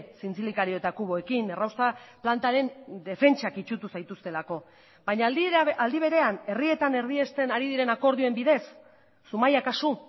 zintzilikario eta kuboekin errausta plantaren defentsak itsutu zaituztelako baina aldi berean herrietan erdiesten ari diren akordioen bidez zumaia kasu